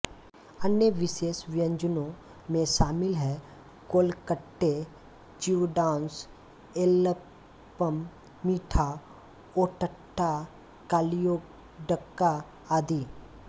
अन्य विशेष व्यंजनों में शामिल हैं कोलकट्टे चिवडास एलयप्पम मीठा ओट्टाडा कलियोडक्का आदि